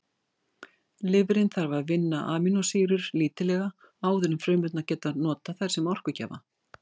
Lifrin þarf að vinna amínósýrur lítillega áður en frumurnar geta notað þær sem orkugjafa.